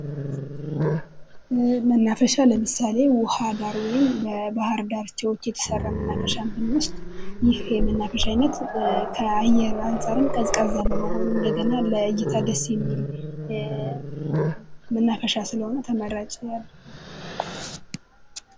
መናፈሻ ለምሳሌ ውሃ ዳር ወይም የባህር ዳርቻዎች የተሰራ መናፈሻ ብንወስድ ይህ የመናፈሻ ዓይነት ከአየር አንፃርም ቀዝቃዛ በመሆኑ እንደገና ለእይታ ደስ የሚል መናፈሻ ስለሆነ ተመራጭ ያደርገዋል።